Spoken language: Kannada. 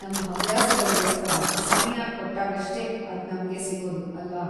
ನಮ್‌ ಹವ್ಯಾಸಗಳ್ಗೋಸ್ಕರ ಸಮಯ ಕೊಟ್ಟಾಗಷ್ಟೇ ಅದ್‌ ನಮ್ಗೆ ಸಿಗೋದು, ಅಲ್ವಾ?